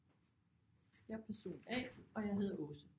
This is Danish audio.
Jeg er person A og jeg hedder Åse